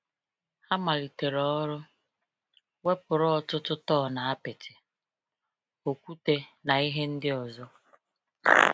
Ha malitere ọrụ, wepụrụ ọtụtụ tọn apịtị, okwute, na ihe ndị ọzọ.